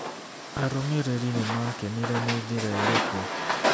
Arũmĩrĩri nĩ maakenire na njĩra ĩrĩkũ?